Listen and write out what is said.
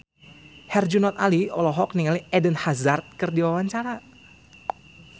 Herjunot Ali olohok ningali Eden Hazard keur diwawancara